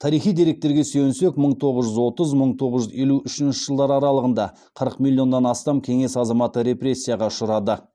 тарихи деректерге сүйенсек мың тоғыз жүз отызыншы мың тоғыз жүз елу үшінші жылдар аралығында қырық миллионнан астам кеңес азаматы репрессияға ұшырады